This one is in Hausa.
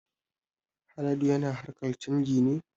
Haladu yana harkar canji ne